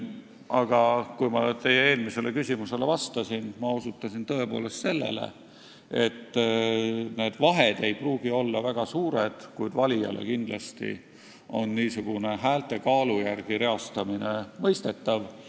Aga kui ma teie eelmisele küsimusele vastasin, siis ma osutasin, et need vahed ei pruugi olla väga suured, kuid valijale on niisugune häälte kaalu järgi reastamine kindlasti mõistetav.